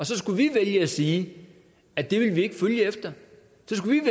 så skulle vælge at sige at det vil vi